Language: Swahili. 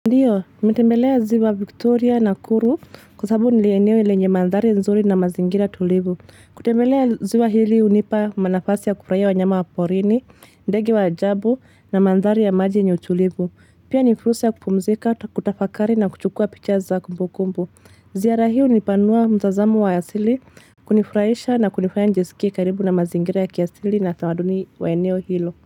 Ndiyo, nimetembelea ziwa Victoria nakuru kwa sababu ni eneo lenye mandhari nzuri na mazingira tulivu. Kutembelea ziwa hili hunipa manafasi ya kufurahia wanyama wa porini, ndege wa ajabu na mandhari ya maji yenye utulivu. Pia ni fursa ya kupumzika, kutafakari na kuchukua picha za kumbukumbu. Ziara hiyo hunipanua mtazamo wa asili, kunifurahisha na kunifaya nijisikie karibu na mazingira ya kiasili na utamaduni wa eneo hilo.